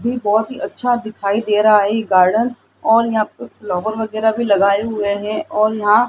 ये बहोत ही अच्छा दिखाई दे रहा है ये गार्डन और यहां पे फ्लावर वगैरा भी लगाए हुए है और यहां --